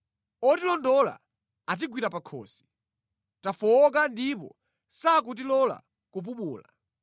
Otilondola atigwira pakhosi; tafowoka ndipo sakutilola kupumula.